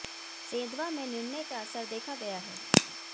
सेंधवा में निर्णय का असर देखा गया है